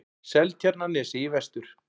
Seltjarnarnesi í vestur.